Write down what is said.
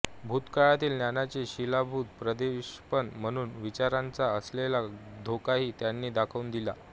भूतकाळातील ज्ञानाचे शिलीभूत प्रक्षेपण म्हणून विचारांचा असलेला धोकाही त्यांनी दाखवून दिला